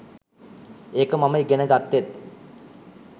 ඒක මම ඉගෙන ග‍ත්තෙත්.